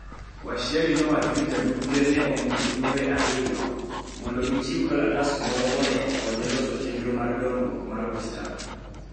Washiali nowacho ni DP ne omiyogi jumbe ariyo mondo gichiw kalatas moro mondo okonye loso chenro mar dongruok mar Western.